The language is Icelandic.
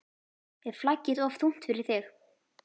Er flaggið of þungt fyrir þig???